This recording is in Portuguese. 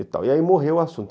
E tal, e aí morreu o assunto.